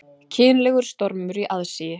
Kynlegur stormur í aðsigi